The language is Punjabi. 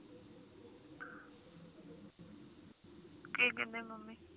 ਕਿ ਕਹਿੰਦੇ ਮੰਮੀ